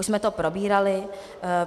Už jsme to probírali.